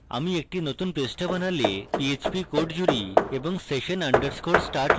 উদাহরণস্বরূপ আমি একটি নতুন পৃষ্ঠা বানালে এখানে php code জুড়ি এবং session _ start লিখি